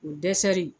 O dɛsɛri